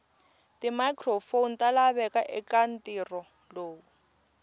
timicrophone talaveka ekantirho lowu